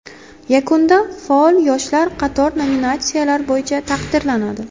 Yakunda faol yoshlar qator nominatsiyalar bo‘yicha taqdirlanadi.